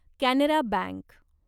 Canara bank